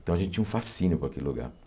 Então, a gente tinha um fascínio por aquele lugar.